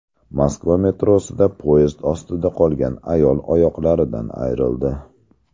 Moskva metrosida poyezd ostida qolgan ayol oyoqlaridan ayrildi.